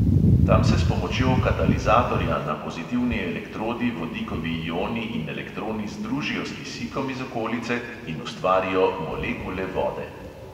Tam se s pomočjo katalizatorja na pozitivni elektrodi vodikovi ioni in elektroni združijo s kisikom iz okolice in ustvarijo molekule vode.